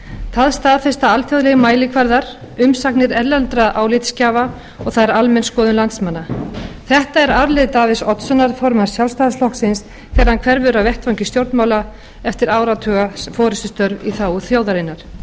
það staðfesta alþjóðlegir mælikvarðar umsagnir erlendra álitsgjafa og það er almenn skoðun landsmanna þetta er arfleifð davíðs oddssonar formanns sjálfstfl þegar hann hverfur af vettvangi stjórnmála eftir áratuga forustustörf í þágu þjóðarinnar því